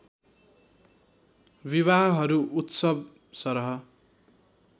विवाहहरू उत्सव सरह